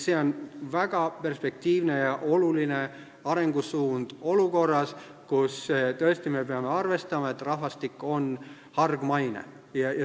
See on väga perspektiivne ja oluline arengusuund olukorras, kus me peame tõesti arvestama, et rahvastik on hargmaine.